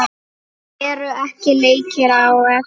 Eru ekki leikir á eftir?